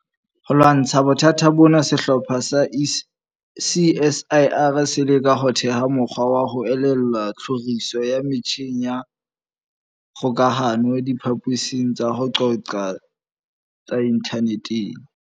Ho lwantsha bothata bona, sehlopha sa CSIR se leka ho theha mokgwa wa ho elellwa tlhoriso ya metjheng ya kgokahano diphaposing tsa ho qoqa tse inthaneteng.